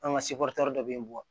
An ka seboretɛri dɔ bɛ yen